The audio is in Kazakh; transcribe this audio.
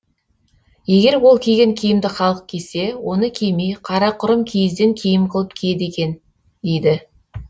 егер ол киген киімді халық кисе оны кимей қарақұрым киізден киім қылып киеді екен дейді